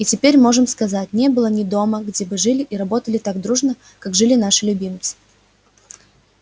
и теперь можем сказать не было ни дома где бы жили и работали так дружно как жили наши любимцы